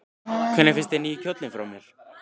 Hvernig finnst þér nýi kjóllinn fara mér?